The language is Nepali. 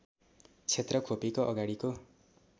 क्षेत्र खोपीको अगाडिको